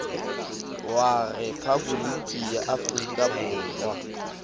wa rephaboliki ya aforika borwa